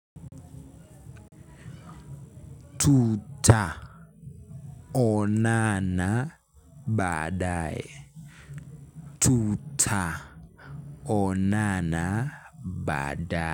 Tuta onana badae uta onana badae.